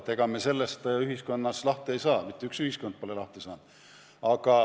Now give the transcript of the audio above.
Ega me sellest ühiskonnas lahti ei saa, mitte üks ühiskond pole lahti saanud.